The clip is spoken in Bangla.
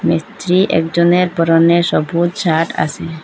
মিস্ত্রি একজনের পরনে সবুজ শার্ট আসে।